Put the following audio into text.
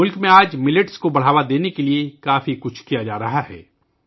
آج ملک میں ملٹ کو فروغ دینے کے لئے بہت کچھ کیا جا رہا ہے